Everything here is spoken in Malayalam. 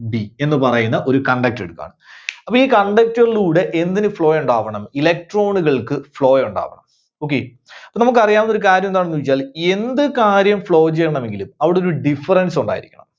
B എന്ന് പറയുന്ന ഒരു conductor എടുക്കുകയാണ്. അപ്പോ ഈ conductor ലൂടെ എന്തിനു flow ഉണ്ടാവണം? electron കൾക്ക് flow ഉണ്ടാവണം. Okay. നമുക്ക് അറിയാവുന്ന ഒരു കാര്യം എന്താണെന്നുവെച്ചാൽ എന്ത് കാര്യം flow ചെയ്യണമെങ്കിലും അവിടെ ഒരു difference ഉണ്ടായിരിക്കണം.